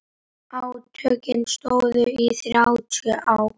Átökin stóðu í þrjátíu ár.